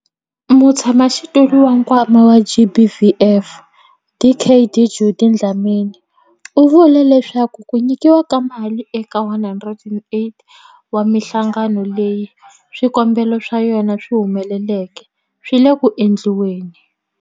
Mutshamaxitulu wa Nkwama wa GBVF, Dkd Judy Dlamini, u vule leswaku ku nyikiwa ka mali eka 108 wa mihlangano leyi swikombelo swa yona swi humeleleke swi le ku endliweni.